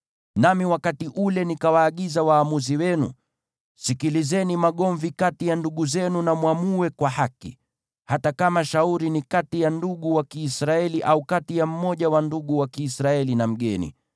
Nami wakati ule nikawaagiza waamuzi wenu: Sikilizeni magomvi kati ya ndugu zenu na mwamue kwa haki, hata kama shauri ni kati ya ndugu wa Kiisraeli, au kati ya mmoja wa ndugu wa Kiisraeli na mgeni.